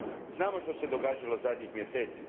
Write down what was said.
Znamo što se događalo zadnjih mjeseci.